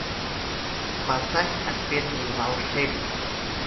поставь отпетые волшебники